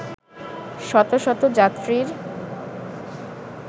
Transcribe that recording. শতশত যাত্রীর